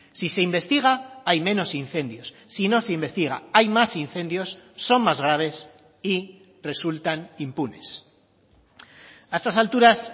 si se investiga hay menos incendios si no se investiga hay más incendios son más graves y resultan impunes a estas alturas